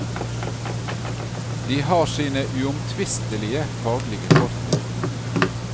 De har sine uomtvistelige faglige fortrinn.